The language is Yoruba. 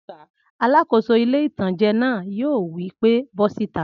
Alàkóso ilé-ìtánjẹ náà yóò wí pé bọ́ síta!